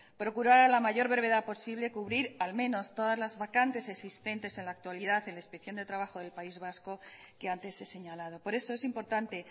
procurar a la mayor brevedad posible cubrir al menos todas las vacantes existentes en la actualidad en la inspección de trabajo del país vasco que antes he señalado por eso es importante